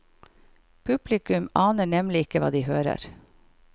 Publikum aner nemlig ikke hva de hører.